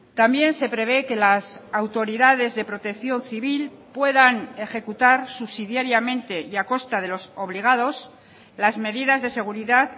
también se prevé que las autoridades de protección civil puedan ejecutar subsidiariamente y a costa de los obligados las medidas de seguridad